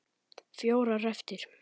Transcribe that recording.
Fjórar eftir.